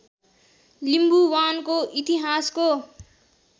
लिम्बुवानको इतिहासको